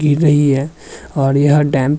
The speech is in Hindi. गिर रही है और यह डैम --